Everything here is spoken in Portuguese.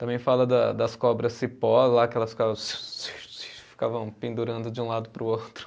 Também fala da das cobras cipó lá, que elas ficavam ficavam pendurando de um lado para o outro.